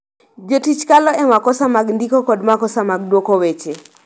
Jotich kalo e makosa mag ndiko kod makosa mag dwoko weche